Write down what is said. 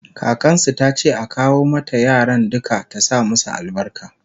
kakansu tace a kawo mata yaran duka ta sa masu albarka